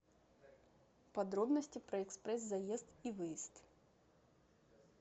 подробности про экспресс заезд и выезд